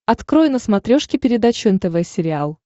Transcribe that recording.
открой на смотрешке передачу нтв сериал